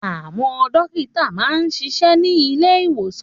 Àwọn dókítà máa ń ṣiṣẹ́ ní ilé ìwòsàn